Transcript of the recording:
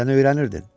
Sən öyrənirdin.